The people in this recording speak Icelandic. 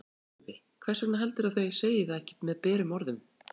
Sölvi: Hvers vegna heldurðu að þau segi það ekki berum orðum?